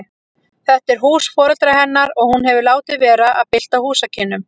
Þetta er hús foreldra hennar og hún hefur látið vera að bylta húsakynnum.